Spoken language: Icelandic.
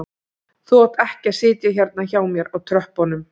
Þú átt ekki að sitja hérna hjá mér á tröppunum